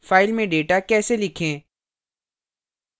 file में data कैसे लिखें